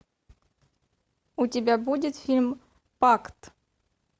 у тебя будет фильм пакт